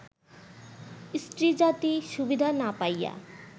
স্ত্রীজাতি সুবিধা না পাইয়া